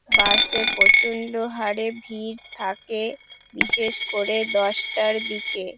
বাস এ প্রচন্ড হারে ভিড় থাকে বিশেষ করে দশটার দিকে।